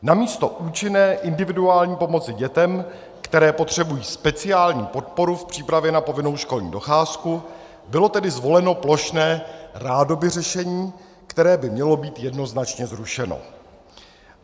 Namísto účinné individuální pomoci dětem, které potřebují speciální podporu v přípravě na povinnou školní docházku, bylo tedy zvoleno plošné rádoby řešení, které by mělo být jednoznačně zrušeno.